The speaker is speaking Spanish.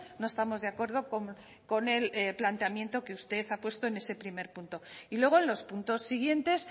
no estamos de acuerdo con el planteamiento que usted ha puesto en ese primer punto y luego en los puntos siguientes